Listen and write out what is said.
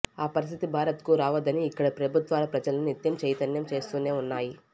ఆ పరిస్థితి భారత్కు రావొద్దని ఇక్కడి ప్రభుత్వాలు ప్రజలను నిత్యం చైతన్యం చేస్తూనే ఉన్నాయి